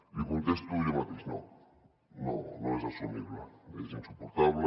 li contesto jo mateix no no és assumible és insuportable